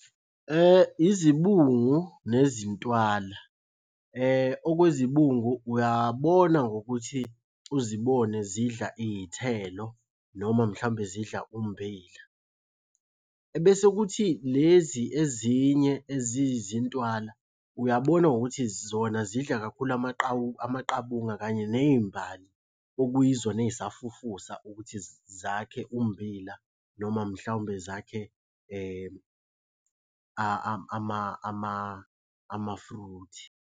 Izibungu nezintwala. Okwezibungu uyabona ngokuthi uzibone zidla iy'thelo noma mhlawumbe zidla ummbila. Ebese kuthi lezi ezinye ezizintwala uyabona ngokuthi zona zidla kakhulu amaqabunga kanye ney'mbali okuyizona ey'safufusa ukuthi zakhe ummbila noma mhlawumbe zakhe ama-fruit.